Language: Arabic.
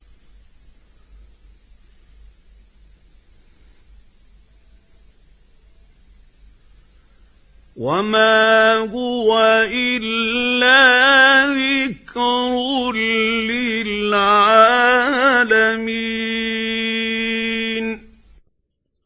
وَمَا هُوَ إِلَّا ذِكْرٌ لِّلْعَالَمِينَ